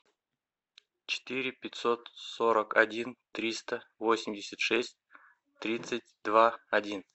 четыре пятьсот сорок один триста восемьдесят шесть тридцать два один